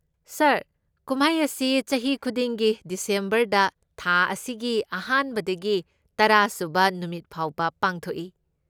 ꯁꯥꯔ, ꯀꯨꯝꯍꯩ ꯑꯁꯤ ꯆꯍꯤ ꯈꯨꯗꯤꯡꯒꯤ ꯗꯤꯁꯦꯝꯕꯔꯗ, ꯊꯥ ꯑꯁꯤꯒꯤ ꯑꯍꯥꯟꯕꯗꯒꯤ ꯇꯔꯥꯁꯨꯕ ꯅꯨꯃꯤꯠ ꯐꯥꯎꯕ ꯄꯥꯡꯊꯣꯛꯏ꯫